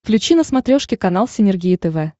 включи на смотрешке канал синергия тв